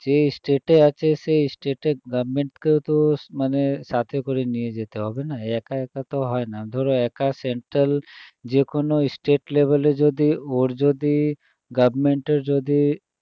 যে state এ আছে সেই state এর government কেও তো মানে সাথে করে নিয়ে যেতে হবে না, একা একা তো হয় না ধরো একা central যেকোনো state level এ যদি ওর যদি government এর যদি